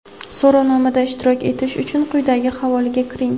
So‘rovnomada ishtirok etish uchun quyidagi havola ga kiring.